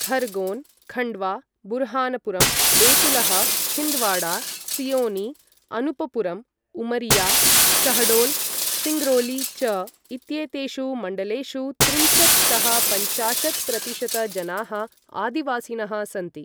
खरगोन्, खण्डवा, बुरहानपुरं, बेतुलः, छिन्दवाड़ा, सिओनी, अनूपपुरं, उमरिया, शहडोल्, सिङ्गरौली च इत्येतेषु मण्डलेषु त्रिंशत् तः पञ्चाशत् प्रतिशत जनाः आदिवासिनः सन्ति।